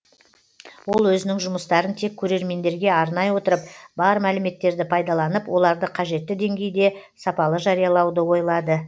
ол өзінің жұмыстарын тек көрермендерге арнай отырып бар мәліметтерді пайдаланып оларды қажетті деңгейде сапалы жариялауды ойлады